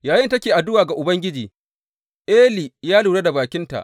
Yayinda take addu’a ga Ubangiji, Eli ya lura da bakinta.